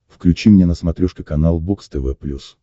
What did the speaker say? включи мне на смотрешке канал бокс тв плюс